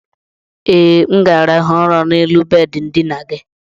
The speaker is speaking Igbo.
e, m ga-arahụ ụra n'elu bedị ndina gị.